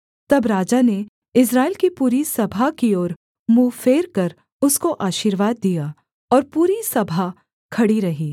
तब राजा ने इस्राएल की पूरी सभा की ओर मुँह फेरकर उसको आशीर्वाद दिया और पूरी सभा खड़ी रही